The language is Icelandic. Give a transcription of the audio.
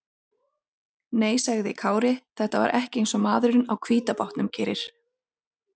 Nei, sagði Kári, þetta var ekki eins og maðurinn á hvíta bátnum gerir.